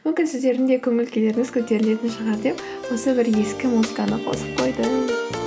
мүмкін сіздердің де көңіл күйлеріңіз көтерілетін шығар деп осы бір ескі музыканы қосып қойдым